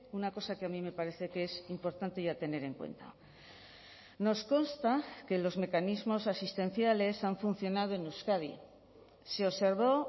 una cosa que a mí me parece que es importante y a tener en cuenta nos consta que los mecanismos asistenciales han funcionado en euskadi se observó